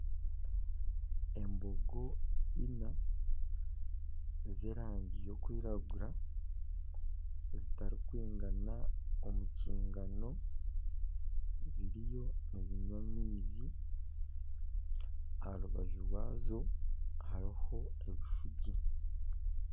Embogo ina eze erangi y'okwiragura zitarikwigana omu kigaano ziriyo nizinywa amaizi aha rubaju rwazo hariho ebishuugi.